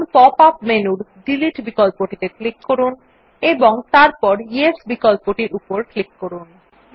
এখন pop up মেনুর delete বিকল্পটিত়ে ক্লিক করুন এবং তারপর য়েস বিকল্প উপর ক্লিক করুন